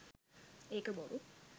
ඒක බොරු.